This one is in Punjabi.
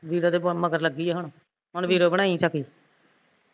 ਵੀਰੋ ਦੇ ਮਗਰ ਲੱਗੀ ਹੁਣ ਹੁਣ ਵੀਰੋ ਬਣਾਈ ਸਖੀ